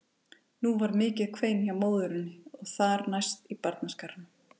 Nú varð mikið kvein hjá móðurinni og þar næst í barnaskaranum.